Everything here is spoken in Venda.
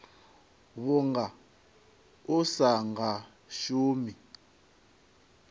vhunga u sa nga shumi